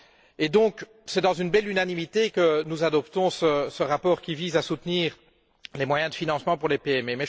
Et donc, c'est dans une belle unanimité que nous adoptons ce rapport qui vise à soutenir les moyens de financement pour les PME.